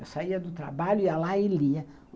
Eu saía do trabalho, ia lá e lia.